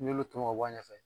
N'i y'olu tɔmɔ k'a bɔ a ɲɛfɛ